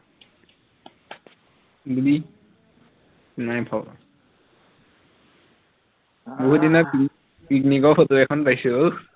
, নাই থকা আৰু এদিনা পি picnic ৰ ফটো এখন পাইছো উহ